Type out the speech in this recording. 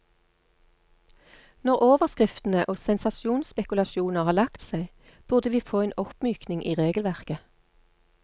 Når overskriftene og sensasjonsspekulasjoner har lagt seg, burde vi få en oppmykning i regelverket.